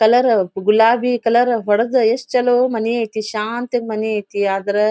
Colour ಗುಲಾಬಿ colour ಹೊಡೆದು ಎಷ್ಟು ಚಲೋ ಮನಿ ಐತಿ ಶಾಂತಿ ಮನೀ ಐತಿ ಆದರೆ--.